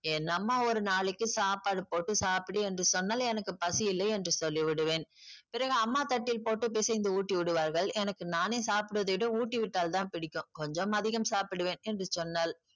என் அம்மா ஒரு நாளைக்கி சாப்பாடு போட்டு சாப்பிடு என்று சொன்னால் எனக்கு பசியில்லை என்று சொல்லி விடுவேன். பிறகு அம்மா தட்டில் போட்டு பிசைந்து ஊட்டி விடுவார்கள். எனக்கு நானே சாப்பிடுவதை விட ஊட்டி விட்டால் தான் பிடிக்கும். கொஞ்சம் அதிகம் சாப்பிடுவேன் என்று சொன்னாள்.